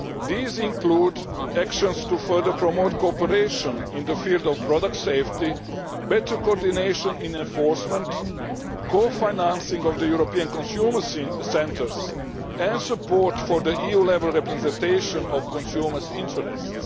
These include actions to further promote cooperation in the field of product safety, better coordination in enforcement, co financing of the European Consumer Centres and support for EU level representation of consumer interests.